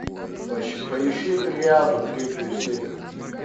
поищи триаду третью серию